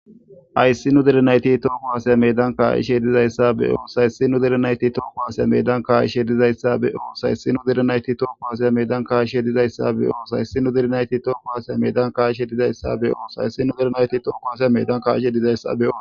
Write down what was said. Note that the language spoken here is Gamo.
Hayssi nu derenayti tooko haasaya medan kaa7ishe dizayssa be oosay sinu derenayti tooko hasaya medan kaa7ishe dizayssa be oosay sinu derenayti tooko hasaya medan kaishe dizayssa be oosay sinu direnayti tooko hasaya medan ka7ishe dizayssa be oosay sinu derenayti tooko hasay medan kaishe dizayssa beo